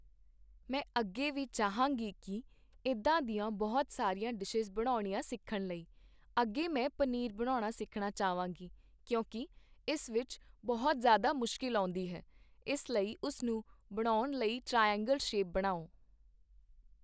ਮੈਂ ਅੱਗੇ ਵੀ ਚਾਹਾਂਗੀ ਕਿ, ਇੱਦਾਂ ਦੀਆਂ ਬਹੁਤ ਸਾਰੀਆਂ ਡਿਸ਼ੀਜ਼ ਬਣਾਉਣੀਆਂ ਸਿੱਖਣ ਲਈ ਅੱਗੇ ਮੈਂ ਪਨੀਰ ਬਣਾਉਣਾ ਸਿੱਖਣਾ ਚਾਹਵਾਂਗੀ ਕਿਉਂਕਿ ਇਸ ਵਿਚ ਬਹੁਤ ਜ਼ਿਆਦਾ ਮੁਸ਼ਕਿਲ ਆਉਂਦੀ ਹੈ, ਇਸ ਲਈ ਉਸ ਨੂੰ ਬਣਾਉਣ ਲਈ ਟ੍ਰਾਏਐਂਗਲ ਸ਼ੇਪ ਬਣਾਓ